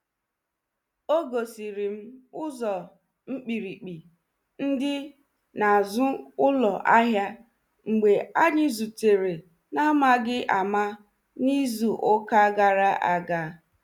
O gosiri m ụzo mkpirikpi ndi n'azu ụlọ ahia mgbe anyi zutere na amaghi ama n'izu ụka gara aga.